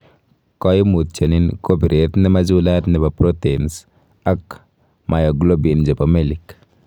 Koimutioniton ko biret nemachulat nebo proteins ok myoglobin chebo melik